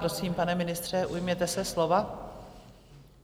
Prosím, pane ministře, ujměte se slova.